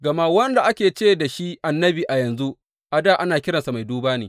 Gama wanda ake ce da shi annabi a yanzu, a dā ana kiransa mai duba ne.